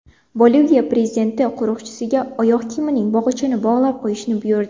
Boliviya prezidenti qo‘riqchisiga oyoq kiyimining bog‘ichini bog‘lab qo‘yishni buyurdi.